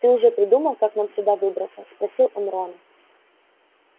ты уже придумал как нам отсюда выбраться спросил он рона